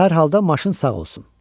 Hər halda maşın sağ olsun.